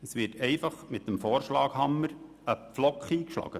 Es wird einfach mit dem Vorschlaghammer ein Pflock eingeschlagen.